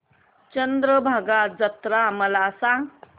चंद्रभागा जत्रा मला सांग